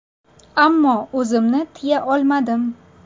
Ammo o‘zimni tiya olmadim.